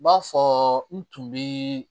B'a fɔ n tun bi